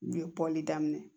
N ye bɔli daminɛ